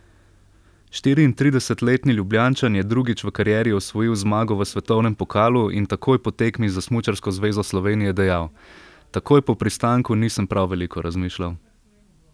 Štiriintridesetletni Ljubljančan je drugič v karieri osvojil zmago v svetovnem pokalu in takoj po tekmi za smučarsko zvezo Slovenije dejal: "Takoj po pristanku nisem prav veliko razmišljal.